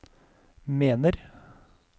mener